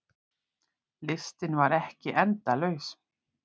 Listinn var ekki endalaus.